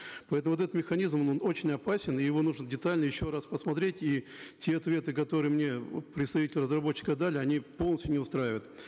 поэтому вот этот механизм он очень опасен и его нужно детально еще раз посмотреть и те ответы которые мне представители разработчика дали они полностью не устраивают